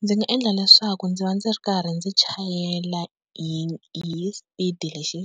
Ndzi nga endla leswaku ndzi va ndzi ri karhi ndzi chayela hi hi speed lexi